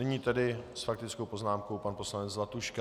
Nyní tedy s faktickou poznámkou pan poslanec Zlatuška.